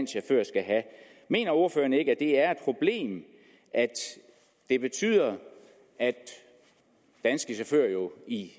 chauffør skal have mener ordføreren ikke at og at det betyder at danske chauffører